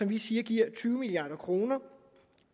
vi siger giver tyve milliard kroner